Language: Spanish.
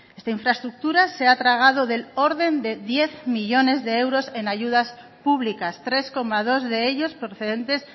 esta infraestructura se ha tragado del orden de diez millónes de euros en ayudas públicas tres coma dos de ellos procedentes